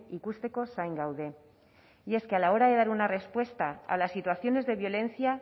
ikusteko zain gaude y es que a la hora de dar una respuesta a las situaciones de violencia